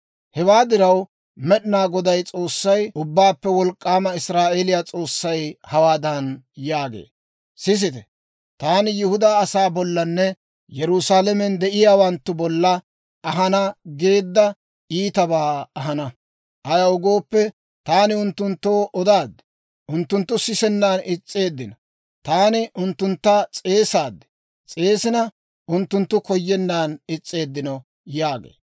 Hewaa diraw, Med'inaa Goday S'oossay, Ubbaappe Wolk'k'aamay, Israa'eeliyaa S'oossay hawaadan yaagee; «Sisite, taani Yihudaa asaa bollanne Yerusaalamen de'iyaawanttu bolla ahana geedda iitabaa ahana. Ayaw gooppe, taani unttunttoo odaad; unttunttu sisennan is's'eeddino. Taani unttuntta s'eesaad; s'eesina unttunttu koyennan is's'eeddino» yaagee.